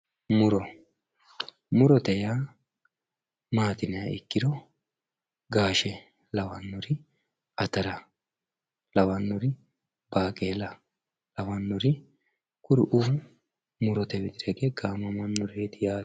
muro murote yaa maati yiniha ikkiro gaashe lawannori atara lawannori baaqeela lawannori kuriuu murote widira hige gaamamannoreeti yaate.